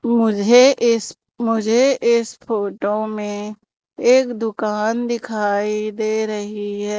मुझे इस मुझे इस फोटो में एक दुकान दिखाई दे रही है।